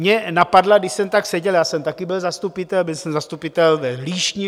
Mě napadla, když jsem tak seděl, já jsem taky byl zastupitel, byl jsem zastupitel v Líšni.